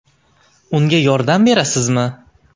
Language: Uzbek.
Unga yordam berasizmi?